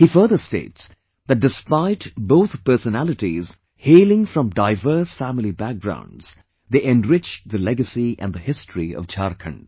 He further states that despite both personalities hailing from diverse family backgrounds, they enriched the legacy and the history of Jharkhand